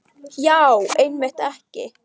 Já, einmitt ekki.